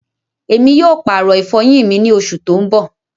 Ẹmi yóò paàrọ ifọyin mi ni oṣù tó n bọ̀.